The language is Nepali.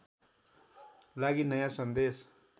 लागि नयाँ सन्देश